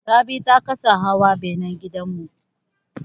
Rabi ta kasa hawa benan gidan mu.